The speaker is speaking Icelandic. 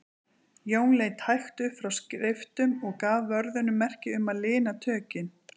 Jón leit hægt upp frá skriftum og gaf vörðunum merki um að lina tökin.